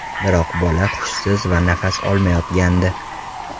Biroq bola hushsiz va nafas olmayotgandi.